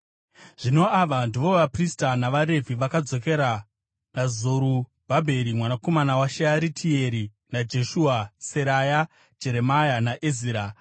Zvino ava ndivo vaprista navaRevhi vakadzokera naZerubhabheri, mwanakomana waShearitieri naJeshua: Seraya, Jeremia, naEzira,